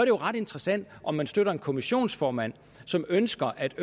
jo ret interessant om man støtter en kommissionsformand som ønsker at